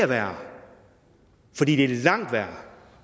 der gør